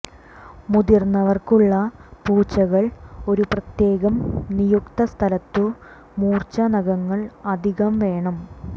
മുതിർന്നവർക്കുള്ള പൂച്ചകൾ ഒരു പ്രത്യേകം നിയുക്ത സ്ഥലത്തു മൂർച്ച നഖങ്ങൾ അധികം വേണം